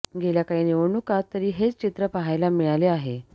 गेल्या काही निवडणुकांत तरी हेच चित्र पहायला मिळाले आहे